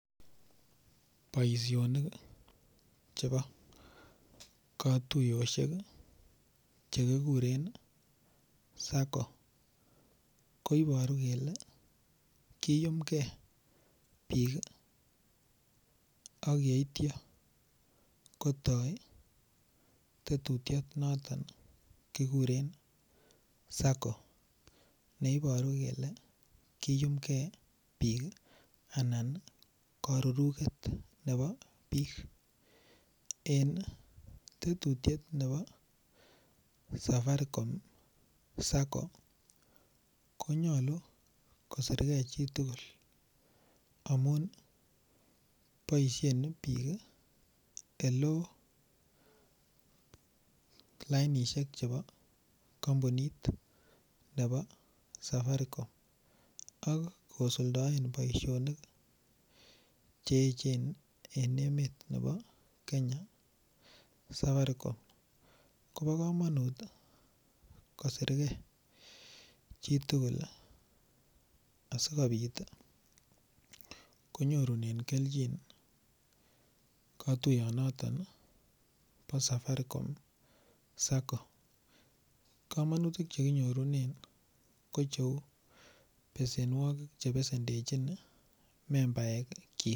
Boishonik chebo kotuyoshek chekikure sacco koiboru kele kiyumkei biik akyeityo kotoi tetutiet noton kikure sacco neiboru kele kiyumkei biik ana karuruket nebo biik en tetutiet nebo safaricom sacco konyolu koserkei chitugul amun boishen biik eloo lainishek chebo kompunit nebo safaricom ak kosuldaen boishonik che echen eng emet nebo Kenya safaricom Kobo komonut kosirkei chitugul asikobit konyorunen kelchin kotuyot noton bo safaricom sacco komonutik chekinyorunen kocheu besenwokik chebesendechin membaek chi.